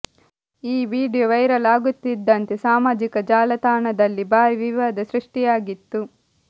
ಈ video viral ಆಗುತ್ತಿದ್ದಂತೆ ಸಾಮಾಜಿಕ ಜಾಲತಾಣದಲ್ಲಿ ಭಾರಿ ವಿವಾದ ಸೃಷ್ಠಿಯಾಗಿತ್ತು